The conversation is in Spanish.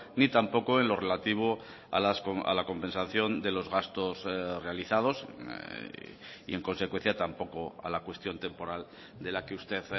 ni tampoco en lo relativo a la compensación de los gastos realizados y en consecuencia tampoco a la cuestión temporal de la que usted